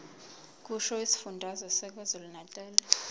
kusho isifundazwe sakwazulunatali